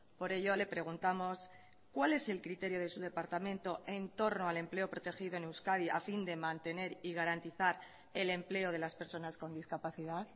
por ello le preguntamos cuál es el criterio de su departamento en torno al empleo protegido en euskadi a fin de mantener y garantizar el empleo de las personas con discapacidad